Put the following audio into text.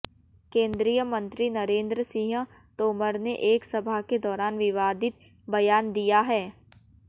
केंद्रीय मंत्री नरेंद्र सिंह तोमर ने एक सभा के दौरान विवादित बयान दिया है